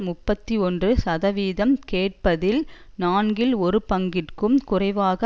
முப்பத்தி ஒன்று சதவீதம் கேட்கப்பட்டதில் நான்கில் ஒரு பங்கிற்கும் குறைவாக